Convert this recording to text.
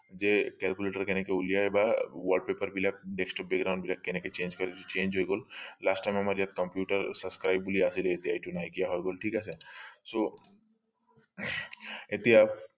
যে calculator এনেকে উলিয়াই বা wallpaper বিলাক desktop background বিলাক এনেকে change change হৈ গল last time আমাৰ যে computer subscribe বুলি আছিলে সেইটো নাইকীয়া হৈ গল ঠিক আছে so এতিয়া